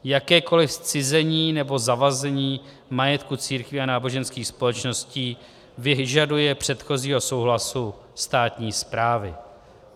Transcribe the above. Jakékoliv zcizení nebo zavazení majetku církví a náboženských společností vyžaduje předchozího souhlasu státní správy.